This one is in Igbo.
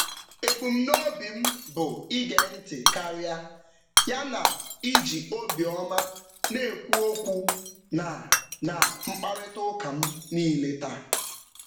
Ebumnobi m bụ ige ntị karịa ya na iji obiọma na-ekwu okwu na na mkparịtaụka m niile taa.